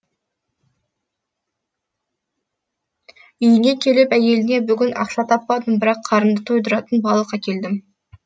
үйіне келіп әйеліне бүгін ақша таппадым бірақ қарынды тойдыратын балық әкелдім